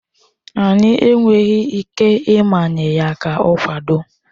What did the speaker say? Anyị enweghị ike ịmanye ya ka ọ kwado.